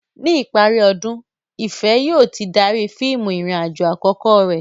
Ní ìparí ọdún, Ìfẹ̀ yóò ti darí fíìmù ìrìn-àjò àkọ́kọ́ rẹ̀.